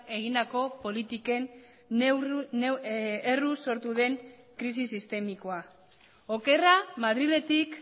egindako politiken erruz sortu den krisi sistemikoa okerra madriletik